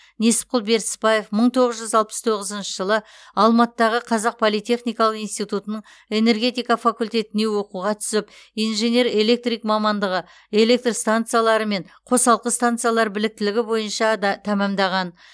несіпқұл бертісбаев мың тоғыз жүз алпыс тоғызыншы жылы алматыдағы қазақ политехникалық институтының энергетика факультетіне оқуға түсіп инженер электрик мамандығы электр станциялары және қосалқы станциялар біліктілігі бойынша бойынша тәмамдаған